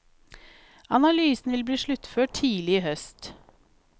Analysen vil bli sluttført tidlig i høst.